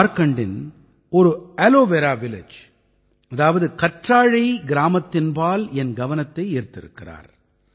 ஜார்க்கண்டின் ஒரு aloe vera village அதாவது கற்றாழை கிராமத்தின்பால் என் கவனத்தை ஈர்த்திருக்கிறார்